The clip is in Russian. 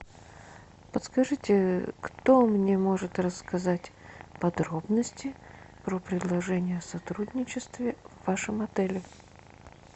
подскажите кто мне может рассказать подробности про предложение о сотрудничестве в вашем отеле